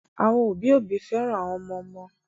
Àwọn òbí òbí féràn àwọn ọmọ ọmọ